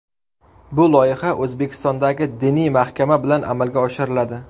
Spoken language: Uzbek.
Bu loyiha O‘zbekistondagi diniy mahkama bilan amalga oshiriladi.